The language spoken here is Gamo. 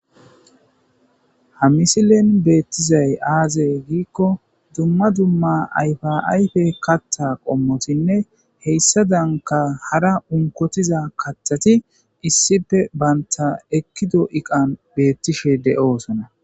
ha misilen beettizay aazey giikko dumma dumma ayfaayfe katta qommotinne heyssa danka hara unkotiza kathati issife baynta ekkido iqan beettishe de7oosana